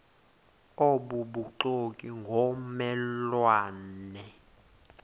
obubuxoki ngomme lwane